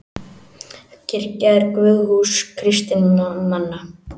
Kirkja er guðshús kristinna manna.